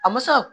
A ma se ka